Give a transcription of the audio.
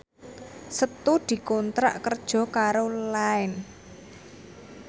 Setu dikontrak kerja karo Line